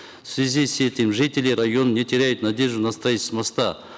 в связи с этим жители района не теряют надежду на строительство моста